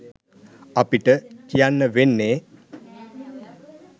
අපිට කියන්න වෙන්නේ